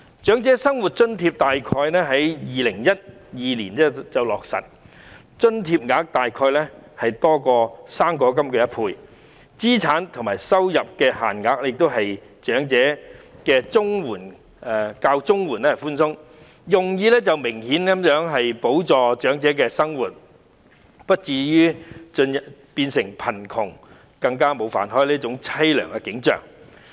長者生活津貼在2012年左右落實，金額約多於"生果金 "1 倍，有關的資產和收入限額亦較長者綜合社會保障援助寬鬆，用意明顯是補助長者的生活，使他們不至於因貧窮而沒有飯吃，落得淒涼。